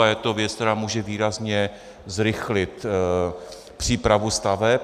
A je to věc, která může výrazně zrychlit přípravu staveb.